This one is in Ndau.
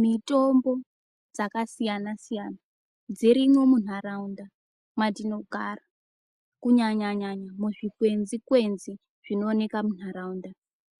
Mjtombo dzakasiyana siyana dzirimwo muntaraunda mwatinogara kunyanyanya muzvikwenzi kwenzi zvinooneka muntaraunda